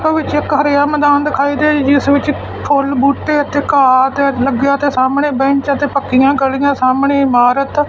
ਇਸ ਵਿਚ ਇੱਕ ਹਰਾ ਮੈਦਾਨ ਦਿਖਾਈ ਦੇ ਰਹੀ ਜਿਸ ਵਿੱਚ ਫੁੱਲ ਬੂਟੇ ਅਤੇ ਘਾਹ ਤੇ ਲੱਗਿਆ ਤੇ ਸਾਹਮਣੇ ਬੈਂਚ ਅਤੇ ਪੱਕੀਆਂ ਗਲੀਆਂ ਸਾਹਮਣੇ ਇਮਾਰਤ --